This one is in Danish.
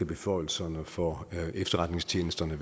beføjelserne for efterretningstjenesterne